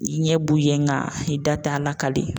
I ɲɛ b'u ye nka i da t'a lakali.